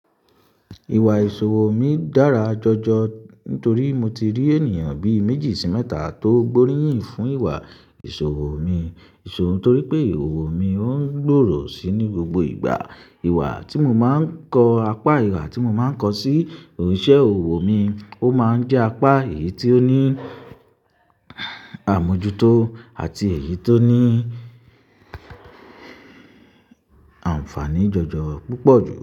Ìwà ìṣòwo mi dára jọjọ nítorí mo ti rí ènìyàn bí i méjì sí mẹ́ta tó gbóríyìn fún ìwà ìṣòro mi. Ìṣòwo nítorí pé ìwà òro mi ò ń gbòrò síi ní gbogbo ìgbà. Ìwà tí mo máa ń kọ́, apá ìwà tí mo máa ń kọ́ sí òṣìṣẹ́ òwò mi ó máa ń jẹ́ apá èyí tó ní àmujútó àti èyí tó ní àǹfààní jọjọ púpọ̀ jùlọ.